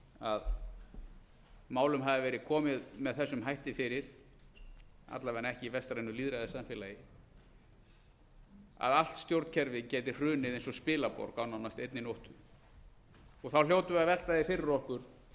að málum hafi verið komið með þessum hætti fyrir alla vega ekki í vestrænu lýðræðissamfélagi að allt stjórnkerfið gæti hrunið eins og spilaborg á nánast einni nóttu þá hljótum við að velta því fyrir okkur hvers